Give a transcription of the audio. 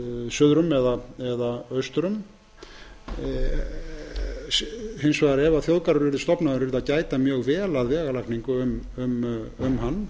suður um eða austur um ef þjóðgarður yrði stofnaður yrði hins vegar að gæta mjög vel að vegalagningu um hann